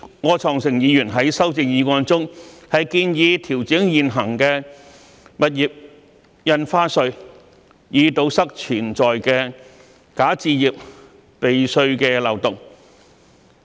柯創盛議員在修正案中，建議調整現行的物業印花稅，以堵塞潛在的"假首置"避稅的漏洞。